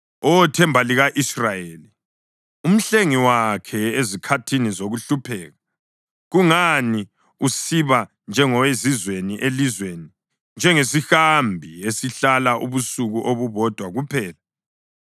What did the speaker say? Oh Themba lika-Israyeli, uMhlengi wakhe ezikhathini zokuhlupheka, kungani usiba njengowezizweni elizweni, njengesihambi esihlala ubusuku obubodwa kuphela?